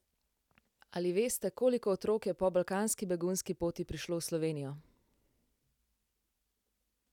Ali veste, koliko otrok je po balkanski begunski poti prišlo v Slovenijo?